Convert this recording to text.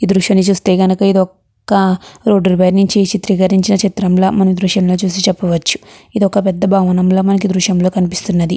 ఈ దృశ్యాన్ని చూస్తుంటే ఇది ఒక రోడ్డు పై నించి చిత్రీకరించిన చిత్రం లా మనం ఈ దృశ్యం చూసి చప్పవచ్చు. ఇది ఒక పెద్ద భవనం లా మనకి ఈ దృశ్యం లో కనిపిస్తున్నది.